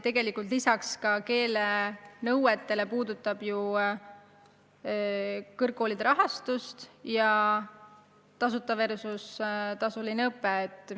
Peale keelenõuete puudutab see ka kõrgkoolide rahastust ja küsimust tasuta õpe versus tasuline õpe.